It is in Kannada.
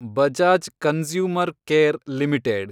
Bajaj consumer care limited